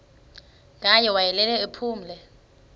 ngaye wayelele ephumle